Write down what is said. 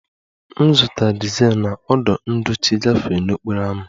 M zụtara dizel na ọdụ ndochi gafee n'okporo ámá